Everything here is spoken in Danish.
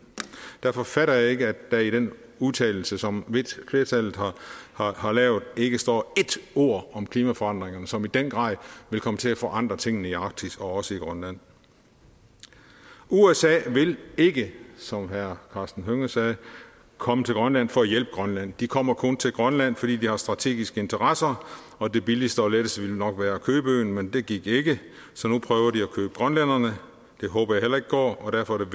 derfor fatter jeg ikke at der i den udtalelse som flertallet har har lavet ikke står ét ord om klimaforandringerne som i den grad vil komme til at forandre tingene i arktis og også i grønland usa vil ikke som herre karsten hønge sagde komme til grønland for at hjælpe grønland de kommer kun til grønland fordi de har strategiske interesser og det billigste og letteste ville nok være at købe øen men det gik ikke så nu prøver de at købe grønlænderne det håber jeg heller ikke går og derfor er